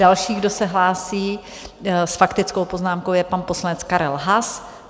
Další, kdo se hlásí s faktickou poznámkou, je pan poslanec Karel Haas.